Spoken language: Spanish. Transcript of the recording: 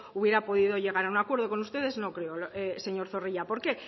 hubiera podido llegar a un acuerdo con ustedes no creo señor zorrilla por qué